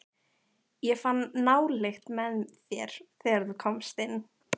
Ég fann nálykt með þér, þegar þú komst inn.